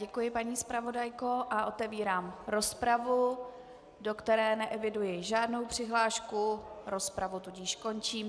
Děkuji, paní zpravodajko, a otevírám rozpravu, do které neeviduji žádnou přihlášku, rozpravu tudíž končím.